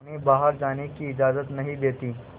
उन्हें बाहर जाने की इजाज़त नहीं देती है